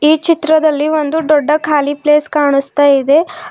ಈ ಚಿತ್ರದಲ್ಲಿ ಒಂದು ದೊಡ್ಡ ಕಾಲಿ ಪ್ಲೇಸ್ ಕಾಣಿಸ್ತಾ ಇದೆ.